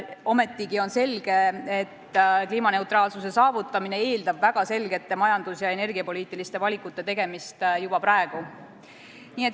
Ometigi on selge, et kliimaneutraalsuse saavutamine eeldab väga selgete majandus- ja energiapoliitiliste valikute tegemist juba praegu.